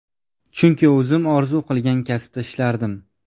Chunki o‘zim orzu qilgan kasbda ishlardim.